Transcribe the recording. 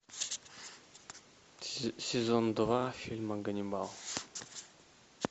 сезон два фильма ганнибал